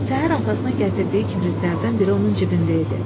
Səhər atasına gətirdiyi kibritlərdən biri onun cibində idi.